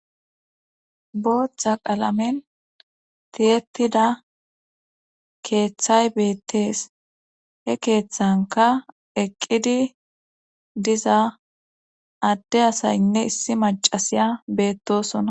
Boothta qalamen tiyetida keeththay beettees he keeththanka eqqidi diza adde asaynne issi macasiya beettosonna.